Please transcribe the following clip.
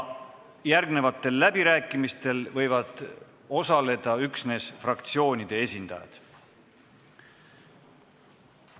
Järgnevatel läbirääkimistel võivad osaleda üksnes fraktsioonide esindajad.